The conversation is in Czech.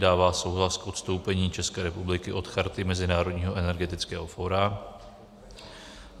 dává souhlas k odstoupení České republiky od Charty Mezinárodního energetického fóra;